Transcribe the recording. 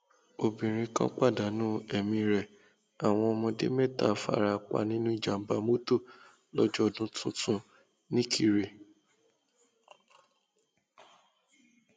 obìnrin kan pàdánù ẹmí rẹ àwọn ọmọdé mẹta fara pa nínú ìjàmbá mọtò lọjọ ọdún tuntun nikirè